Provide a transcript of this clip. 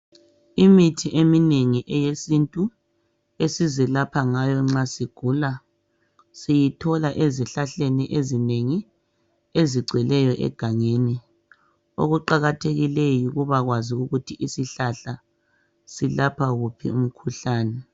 Imithi eminengi eyesintu esizelapha ngayo nxa sigula siyithola ezihlahleni ezinengi ezigcweleyo egangeni okuqakathekikeyo yikuba kwazi ukuthi isihlahla silapha wuphi umkhuhlane.